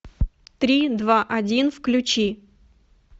три два один включи